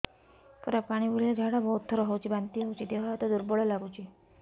ପୁରା ପାଣି ଭଳିଆ ଝାଡା ବହୁତ ଥର ହଉଛି ବାନ୍ତି ହଉଚି ଦେହ ହାତ ଦୁର୍ବଳ ଲାଗୁଚି